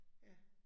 Ja